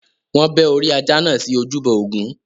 Wọn bẹ́ orí ajá náà sí ojúbọ Ògún.